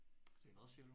Det er hvad siger du?